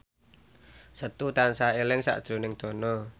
Setu tansah eling sakjroning Dono